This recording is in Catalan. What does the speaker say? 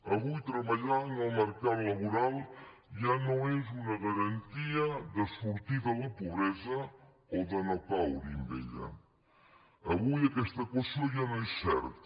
avui treballar en el mercat laboral ja no és una garantia de sortir de la pobresa o de no caure hi en ella avui aquesta equació ja no és certa